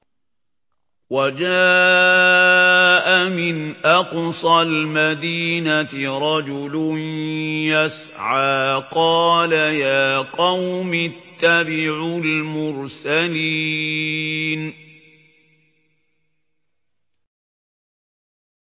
وَجَاءَ مِنْ أَقْصَى الْمَدِينَةِ رَجُلٌ يَسْعَىٰ قَالَ يَا قَوْمِ اتَّبِعُوا الْمُرْسَلِينَ